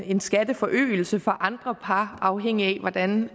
en skatteforøgelse for andre par afhængigt af hvordan